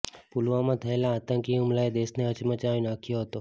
પુલવામામાં થયેલા આતંકી હુમલાએ દેશને હચમચાવી નાખ્યો હતો